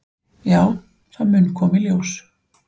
"""Já, það mun koma í ljós."""